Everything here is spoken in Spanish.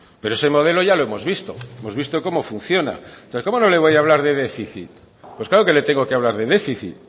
pero ese modelo ya lo hemos visto hemos visto cómo funciona pero cómo no le voy a hablar de déficit pues claro que le tengo que hablar de déficit